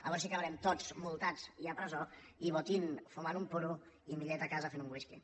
a veure si acabarem tots multats i a presó i botín fumant un puro i millet a casa fent un whisky